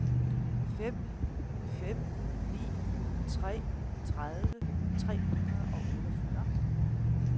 fem fem ni tre tredive tre hundrede og otteogfyrre